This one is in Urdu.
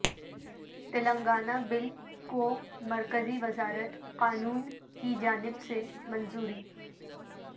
تلنگانہ بل کومرکزی وزارت قانون کی جانب سے منظوری